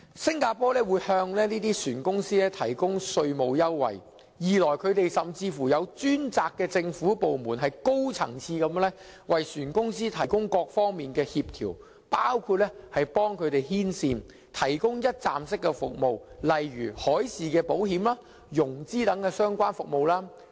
新加坡向船公司提供稅務優惠，甚至設有專責的政府部門高層次地為船公司提供各方面的協調，包括幫他們牽線，提供一站式服務，例如海事保險、融資等相關服務。